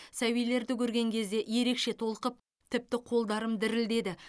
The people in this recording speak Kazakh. сәбилерді көрген кезде ерекше толқып тіпті қолдарым дірілдеді